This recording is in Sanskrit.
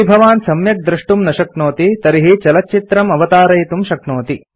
यदि भवान् सम्यक् द्रष्टुं न शक्नोति तर्हि चलच्चित्रं अवतारयितुं शक्नोति